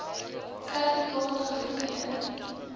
serti kaat gegroepeer